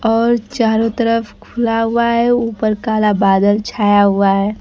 और चारों तरफ खुला हुआ हैं ऊपर काला बादल छाया हुआ है।